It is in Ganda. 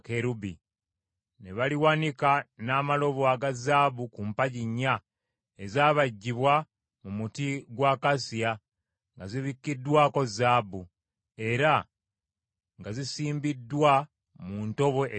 Ne baliwanika n’amalobo aga zaabu ku mpagi nnya ezaabajjibwa mu muti gwa akasiya, nga zibikkiddwako zaabu, era nga zisimbiddwa mu ntobo eza ffeeza.